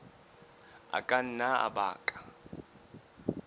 a ka nna a baka